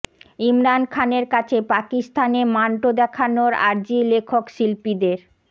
ইমরান খানের কাছে পাকিস্তানে মান্টো দেখানোর আর্জি লেখক শিল্পীদের